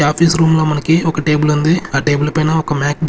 ఈ office room లోమనకి ఒక టేబుల్ ఉంది ఆ టేబుల్ పైన ఒక మ్యాక్--